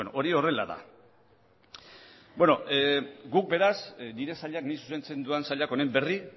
hori horrela da beno guk beraz nire sailak nik zuzentzen dudan sailak honen berri